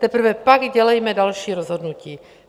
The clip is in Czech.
Teprve pak dělejme další rozhodnutí.